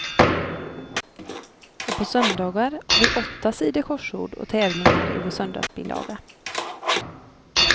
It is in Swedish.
Och på söndagar har vi åtta sidor korsord och tävlingar i vår söndagsbilaga.